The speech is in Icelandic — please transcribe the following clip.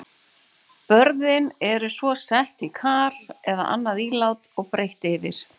Börðin eru svo sett í kar eða annað ílát og breitt yfir.